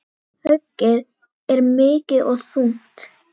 Höggið er mikið og þungt.